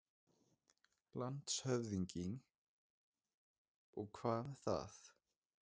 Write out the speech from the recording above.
LANDSHÖFÐINGI: Og hvað með það?